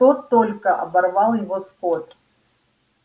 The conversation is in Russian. что только оборвал его скотт